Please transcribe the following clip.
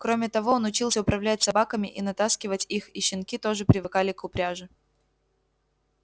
кроме того он учился управлять собаками и натаскивать их и щенки тоже привыкали к упряжи